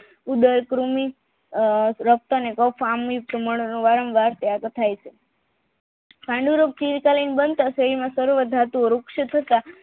ઉંબરકૃમિ વાર્મવાર ત્યાગ થાય છે પાંડુરોગ થી બનતા શરીરના ધાતુઓ